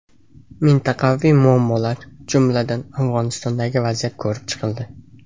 Mintaqaviy muammolar, jumladan, Afg‘onistondagi vaziyat ko‘rib chiqildi.